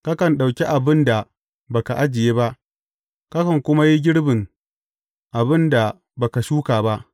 Kakan ɗauki abin da ba ka ajiye ba, kakan kuma yi girbin abin da ba ka shuka ba.’